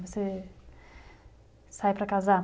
Você sai para casar?